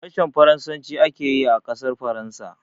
Harshen Faransaci ake yi a ƙasar Faransa.